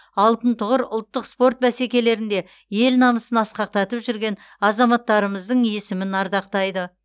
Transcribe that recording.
алтын тұғыр ұлттық спорт бәсекелерінде ел намысын асқақтатып жүрген азаматтарымыздың есімін ардақтайды